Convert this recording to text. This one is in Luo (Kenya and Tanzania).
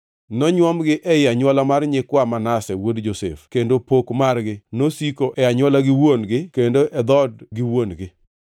Nonywomgi ei anywola mar nyikwa Manase wuod Josef, kendo pok margi nosiko e anywola gi wuon-gi kendo e dhood gi wuon-gi.